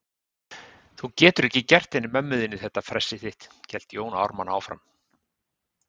Þú getur ekki gert henni mömmu þinni þetta fressið þitt, hélt Jón Ármann áfram.